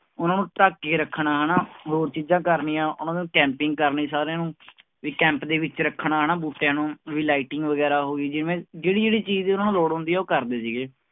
ਉਹਨੂੰ ਢੱਕ ਕੇ ਰੱਖਣਾ ਹਨਾ ਹੋਰ ਚੀਜ਼ਾਂ ਕਰਨੀਆਂ, ਉਹਨਾਂ ਨੂੰ camping ਕਰਨੀ ਸਾਰਿਆਂ ਨੂੰ ਵੀ camp ਦੇ ਵਿੱਚ ਰੱਖਣਾ ਹਨਾ ਬੂਟਿਆਂ ਨੂੰ ਵੀ lighting ਵਗ਼ੈਰਾ ਹੋ ਗਈ ਜਿਵੇਂ, ਜਿਹੜੀ ਜਿਹੜੀ ਚੀਜ਼ ਉਹਨਾਂ ਨੂੰ ਲੋੜ ਹੁੰਦੀ ਹੈ ਉਹ ਕਰਦੇ ਸੀਗੇ।